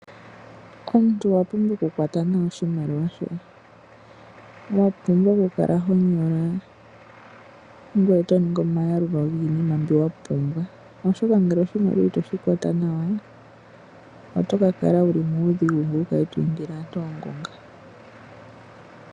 Omuntu owa pumbwa oku kwata nawa oshimaliwa shoye wa pumwa okukala ho nyola ngoye to ningi omayalulo giinima mbyoka wa pumbwa oshoka ngele oshimaliwa itoshi kwata nawa oto kakala wuli muudhigu ngoye wukale to indile aantu oongunga.